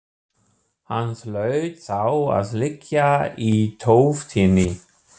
Hann hlaut þá að liggja í tóftinni.